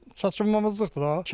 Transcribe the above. çatışmazlıqdır da.